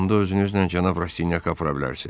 Onda özünüzlə cənab Rastinyak apara bilərsiz.